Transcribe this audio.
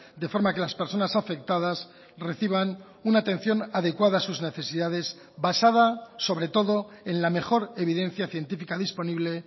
de forma que las personas afectadas reciban una atención adecuada a sus necesidades basada sobre todo en la mejor evidencia científica disponible